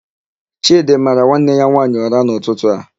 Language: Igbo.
Chịdị mara nwanne ya nwaanyị ụra n'ụtụtụ a.